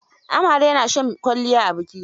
Amare na shan kwalliya a biki.